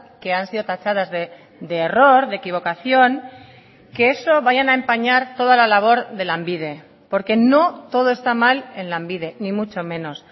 que han sido tachadas de error de equivocación que eso vayan a empañar toda la labor de lanbide porque no todo está mal en lanbide ni mucho menos